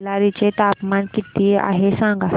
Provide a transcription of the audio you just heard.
बेल्लारी चे तापमान किती आहे सांगा